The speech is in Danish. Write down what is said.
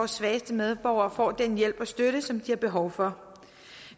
svageste medborgere får den hjælp og støtte som de har behov for